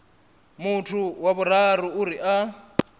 muthu wa vhuraru uri a